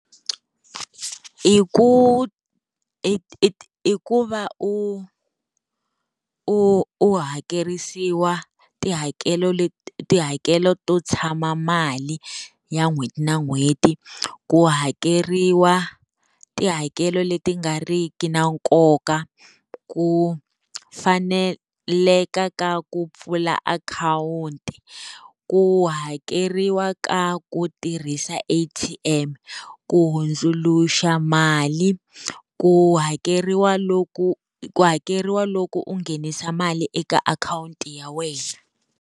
I ku i i i ku va u u u hakerisiwa tihakelo leti tihakelo to tshama mali ya n'hweti na n'hweti, ku hakeriwa tihakelo leti nga ri ki na nkoka, ku faneleka ka ku pfula akhawunti, ku hakeriwa ka ku tirhisa A_T_M, ku hundzuluxa mali, ku hakeriwa loku ku hakeriwa loko u nghenisa mali eka akhawunti ya wena.